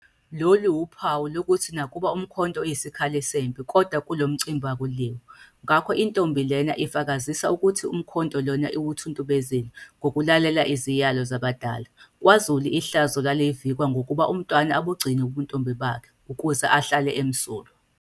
Lolu wuphawu lokuthi nakuba umkhonto uyisikhali sempi kodwa kulo mcimbi akuliwa. Ngakho intombi lena ifakazisa ukuthi umkhonto Iona iwuthuntubezile ngokulalela iziyalo zabadala. KwaZulu ihlazo lalivikwa ngokuba umntwana abugcine ubuntombi bakhe ukuze ahlale emsulwa.